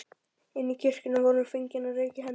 Inni í kirkjunni var honum fengin reka í hendurnar.